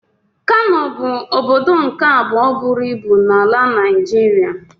Kano bụ ọbọdọ nke abụọ bụrụ ịbụ n'ala Naijiria.